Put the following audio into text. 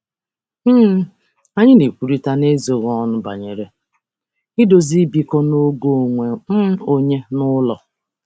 um Anyị na-ekwurịta n'ezoghị ọnụ banyere idozi ịbụkọ na oge onwe um onye n'ụlọ.